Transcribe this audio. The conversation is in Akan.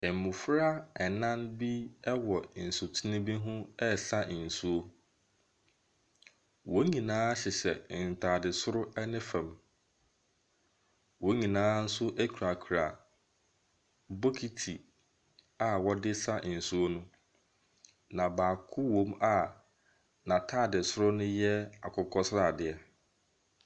Mmofra nan bi wɔ nsutene bi ho resa nsuo. Wɔn nyianaa hyehyɛ ntaade soro ne fam. Wonnyinaa nso kurakura bokiti a wɔde resa nsuo no. Na baako wɔ mu a n'ataade soro no yɛ akokɔ sradeɛ.